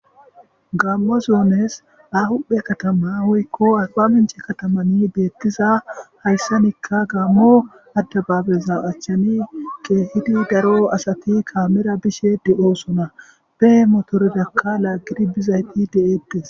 gammo zuones ahuphe katama woykko aba minche katamani beettiza hayssanikka gaammo addabaabeza achchani ke hidi daro asati kaamera bishe de oosona behe motoredakka laaggidi bizayti deeettes